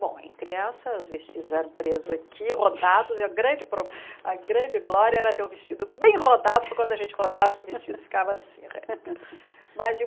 Bom, em criança, os vestidos eram presos aqui, rodados, e a grande pro a grande glória era ter um vestido bem rodado, porque quando a gente rodasse, o vestido ficava assim, reto. Mas